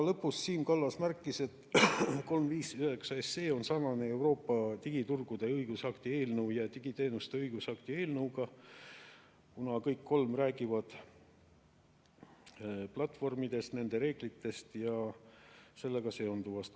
Lõpus Siim Kallas märkis, et eelnõu 359 on sarnane Euroopa digiturgude õigusakti eelnõu ja digiteenuste õigusakti eelnõuga, kuna kõik kolm räägivad platvormidest, nende reeglitest ja sellega seonduvast.